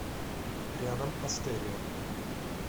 рядом астерия